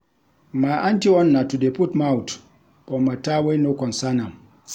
My aunty own na to dey put mouth for mata wey no concern am.